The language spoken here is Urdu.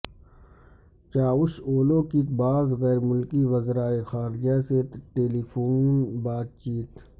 چاوش اولو کی بعض غیر ملکی وزرائے خارجہ سے ٹیلیفون بات چیت